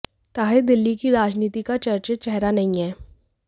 ताहिर दिल्ली की राजनीति का चर्चित चेहरा नहीं हैं